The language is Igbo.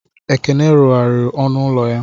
Ekene rụgharịrị ọnụ ụlọ ya.